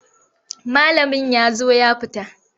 Malamin ya zo ya fita.